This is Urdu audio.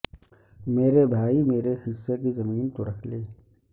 میرے بھائی میرے حصہ کی زمیں تو رکھ لے